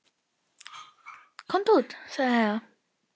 Komum út, sagði Heiða.